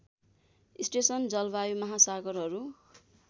station जलवायु महासागरहरू